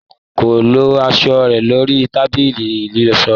Ko lọ aṣọ rẹ lori tábìlì ìlọṣọ